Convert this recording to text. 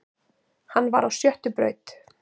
Hann var á sjöttu braut